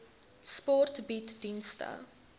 sport bied dienste